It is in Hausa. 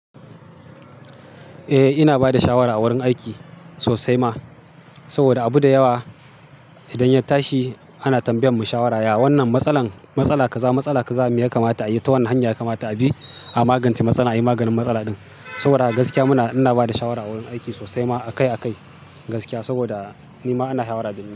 Eh ina bada shawara a wurin aiki sosai ma, saboda abu da yawa idan ya tashi ana tambayan mu shawara ya wannan matsalar ka za matsala ka za me ya kamata a yi ta wane hanya ya kamata abi a magance matsala, ai maganin matsala din. Saboda haka gaskiya muna ina bada shawara a wurin aiki sosai ma akai-akai gaskiya, saboda nima ana shawara da ni.